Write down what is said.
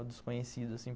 O desconhecido, assim.